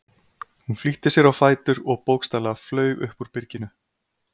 Hún flýtti sér á fætur og bókstaflega flaug upp úr byrginu.